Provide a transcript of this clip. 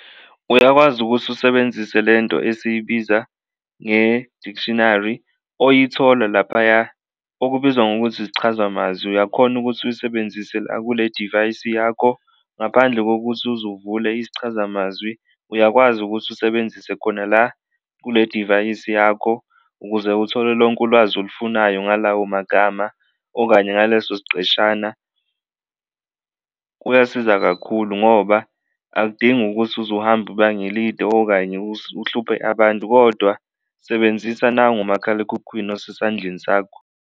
Uyakwazi ukuthi usebenzise le nto esiyibiza nge-dictionary oyithola laphaya okubizwa ngokuthi isichazamazwi, uyakhona ukuthi uyisebenzise la kule divayisi yakho ngaphandle kokuthi uze uvule isichazamazwi, uyakwazi ukuthi usebenzise khona la kule divayisi yakho ukuze uthole lonke ulwazi olufunayo ngalawo magama okanye ngaleso siqeshana kuyasiza kakhulu ngoba akudingi ukuthi uze uhambe ibanga elide okanye uhluphe abantu kodwa sebenzisa nangu umakhalekhukhwini osesandleni sakho.